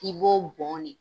I b'o bɔn de